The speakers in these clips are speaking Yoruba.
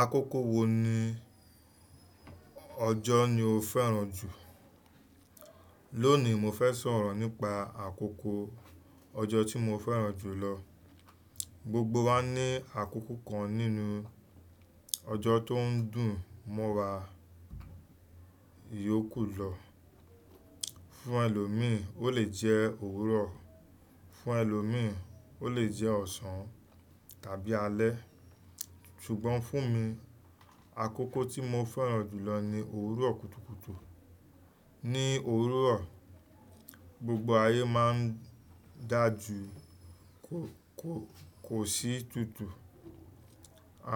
Akọ́kọ́ wo ni ọjọ́ ni o fẹ́ràn jù? Lónìí mo fẹ́ sọ̀rọ̀ nípa àkókò ọjọ́ tí mo fẹ́ràn jù lọ. Gbogbo wa ní àkókò kan nínú ọjọ́ tó ń dùn mọ́ra, ìyókù lọ. Fún ẹlòmíì, ó lè jẹ́ òwúrọ̀, fún ẹlòmíì ó lè jẹ́ ọ̀sán tàbí alẹ́. Ṣùgbọ́n fún mi, àkókò tí mo fẹ́ràn jù lọ ni òwúrọ̀ kùtùkùtù. Ni òwúrọ̀, gbogbo ayé máa ń dà ju kò sí tútù.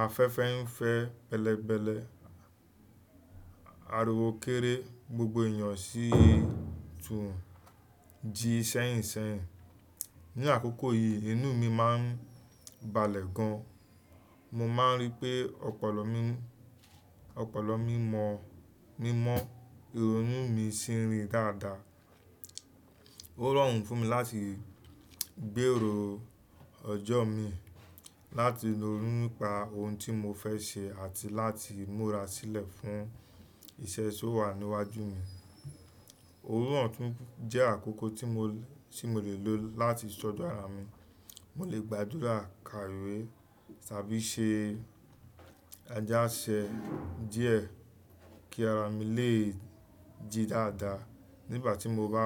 Afẹ́fẹ́ ń fẹ́ bẹ́lẹ̀bẹ́lẹ̀, ariwo kéré, gbogbo èèyàn sì tún jí ṣẹ́yìnṣẹ́yìn. Ni àkókò yìí inú mi má ń balẹ̀ gan. Mo má ń rí pé ọpọlọ mi mọ́, ìrònú mi ń ṣerin dáadáa. Ó rọrùn fún mi láti gbèrò ọjọ́ mi, láti ronú nípa ohun tí mo fẹ́ ṣe àti láti múra sílẹ̀ fún iṣẹ́ tó wà níwájú mi. Òwúrọ̀ tún jẹ́ àkókò tí mo le lò láti study ara mi. Mo lè gba àdúrà, ka ìwé tàbí ṣe ajáṣẹ díẹ̀ kí ara mi lè ji dáadáa. Nígbà tí mo bá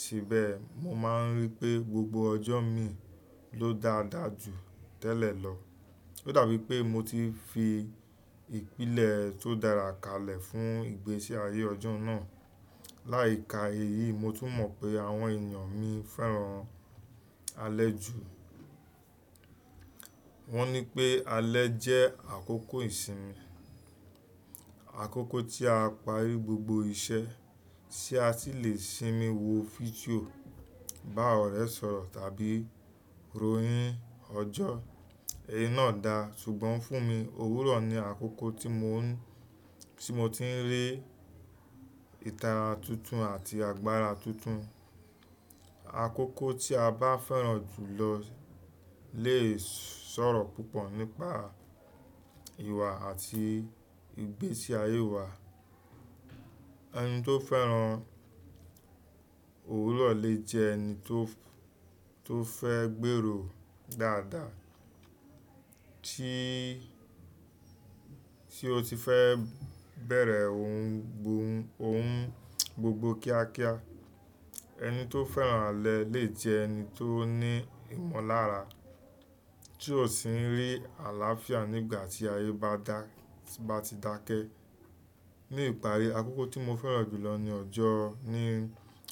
ṣe bẹ́ẹ̀, mo má ń rí pé gbogbo ọjọ́ mi ló dáadáa jù tẹ́lẹ̀ lọ. Ó dàbí pé mo ti fi ìpìlẹ̀ tó dára kalẹ̀ fún ìgbésí ayé ọjọ́ náà. Láì ka èyí, mo tún mọ̀ pé àwọn èèyàn mi fẹ́ràn alẹ́ jù. Wọ́n ní pé alẹ́ jẹ́ àkókò ìsinmi. Àkókò tí a parí gbogbo iṣẹ́ tí a sì le sinmi wo fídíò, bá ọ̀rẹ́ sọ̀rọ̀ tàbí ronhín ọjọ́. Ẹ̀yí náà da, ṣùgbọ́n fún mi òwúrọ̀ ni àkókò tí mo ti ń rí ìtara tuntun àti agbára tuntun. Àkókò tí a bá fẹ́ràn jù lọ lè sọ̀rọ̀ púpọ̀ nípa ìwà àti ìgbésí ayé wa. Ẹni tó fẹ́ràn òwúrọ̀ lè jẹ́ ẹni tó fẹ́ gbèrò dáadáa tí ó ti fẹ́ bẹ̀rẹ̀ ohun gbogbo kíákíá. Ẹni tó fẹ́ràn alẹ́ lè jẹ́ ẹni tó ní ìmọ̀lára tí ò sì ń rí àlàáfíà nígbà tí ayé bá ti dákẹ́. Ni ìparí, àkókò tí mo fẹ́ràn jù lọ ni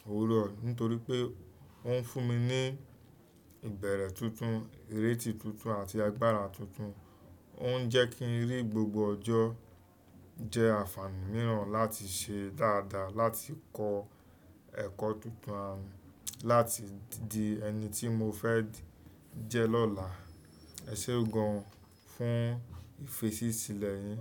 òwúrọ̀ nítorí pé ó ń fún mi ní ìbẹ̀rẹ̀ tuntun, ìrètí tuntun àti agbára tuntun. Ó ń jẹ́ kí ń rí gbogbo ọjọ́ jẹ́ àǹfààní mìíràn láti ṣe dáadáa, láti kọ́ ẹ̀kọ́ tuntun àti láti di ẹni tí mo fẹ́ jẹ́ lọ́la. Ẹ ṣé gun fún ìfẹ́sí sílẹ̀ yín.